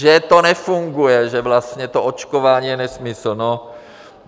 Že to nefunguje, že vlastně to očkování je nesmysl.